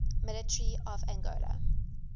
military of angola